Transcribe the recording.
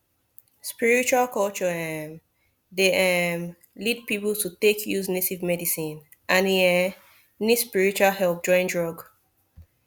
spiritual culture um dey um lead people to take use native medicine and e um need spiritual help join drug